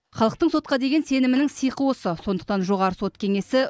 халықтың сотқа деген сенімінің сиқы осы сондықтан жоғарғы сот кеңесі